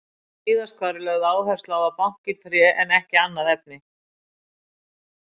Víðast hvar er lögð áhersla á að banka í tré en ekki annað efni.